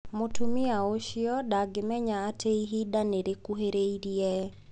Mũtumia ũcio ndangĩmenya atĩ ihinda nĩ rĩkuhĩrĩirie.